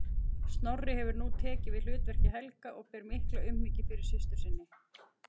Snorri hefur nú tekið við hlutverki Helga og ber mikla umhyggju fyrir systur sinni.